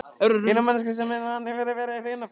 Eina manneskjan sem hann hefur verið hrifinn af.